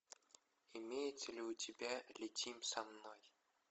имеется ли у тебя летим со мной